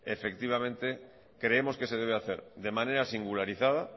creemos que se debe hacer de manera singularizada